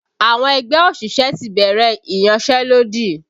Àwọn ẹgbẹ́ òṣìṣẹ́ ti bẹ̀rẹ̀ iyanselodi